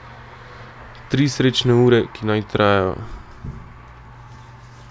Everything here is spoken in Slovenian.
Tri srečne ure, ki naj trajajo.